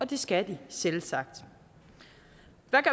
det skal de selvsagt